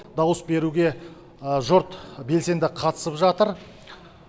дауыс беруге жұрт белсенді қатысып жатыр